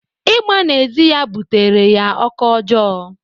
Ịgba n'ezi ya bụtara ya ọkọ ọjọọ.